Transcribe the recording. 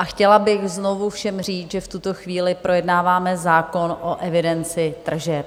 A chtěla bych znovu všem říct, že v tuto chvíli projednáváme zákon o evidenci tržeb.